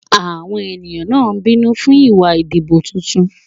Àwọn ènìyàn náà bínú fún ìwà ìdìbò tuntun.